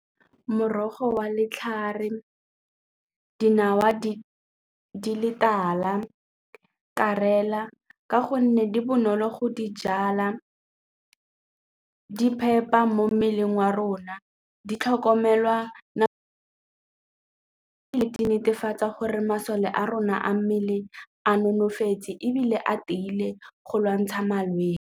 Morogo wa letlhare, dinawa di le tala ka gonne di bonolo go di jala mo mmeleng wa rona, di tlhokomelwa di netefatsa gore masole a rona a mmele a nonofetse ebile a tiile go lwantsha malwetse.